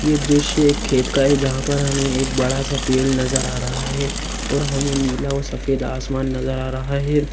ये दृश्य एक खेत का है जहाँ पर हमें एक बड़ा सा पेड़ नज़र आ रहा है और हमें नीला और सफेद आसमान नज़र आ रहा है।